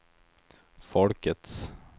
folkets